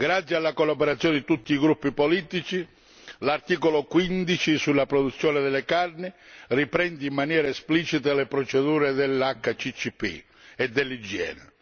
Grazie alla collaborazione di tutti i gruppi politici, l'articolo 15 sulla produzione delle carni riprende in maniera esplicita le procedure dell'HACCP e dell'igiene.